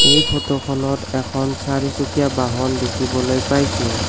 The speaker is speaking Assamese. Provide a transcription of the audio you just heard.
এই ফটোখনত এখন চাৰিচুকীয়া বাহন দেখিবলৈ পাইছোঁ।